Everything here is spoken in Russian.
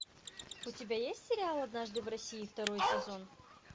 у тебя есть сериал однажды в россии второй сезон